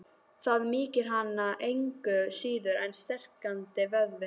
Það mýkir hana engu síður en strekktan vöðva.